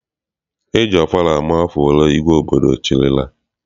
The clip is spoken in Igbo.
E ji ọfala ama afọ ole igwe obodo chịrịla.